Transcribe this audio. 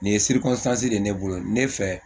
Nin ye de ne bolo ne fɛ